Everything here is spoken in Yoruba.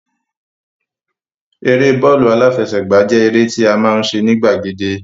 Eré bọ́ọ̀lù aláfẹsẹ̀gbá jẹ́ eré tí a máa ń ṣe ní gbàgede